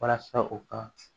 Walasa u ka